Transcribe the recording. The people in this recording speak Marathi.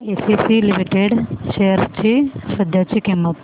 एसीसी लिमिटेड शेअर्स ची सध्याची किंमत